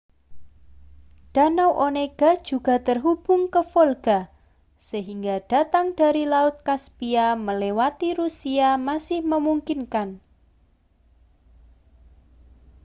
danau onega juga terhubung ke volga sehingga datang dari laut kaspia melewati rusia masih memungkinkan